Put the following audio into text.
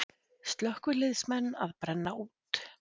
Slökkviliðsmenn að brenna út